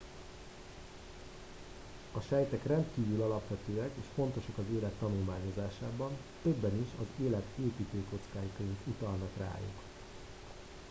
a sejtek rendkívül alapvetőek és fontosak az élet tanulmányozásában többen is az élet építőkockáiként utalnak rájuk